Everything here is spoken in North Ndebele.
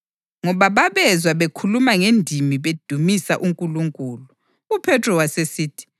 Ngoba babezwa bekhuluma ngendimi bedumisa uNkulunkulu. UPhethro wasesithi,